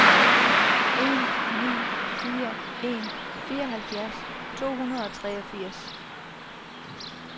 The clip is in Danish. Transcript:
en ni fire en fireoghalvfjerds to hundrede og treogfirs